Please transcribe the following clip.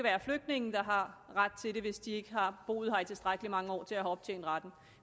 er flygtninge der har ret til det hvis de ikke har boet her i tilstrækkelig mange år til at have optjent retten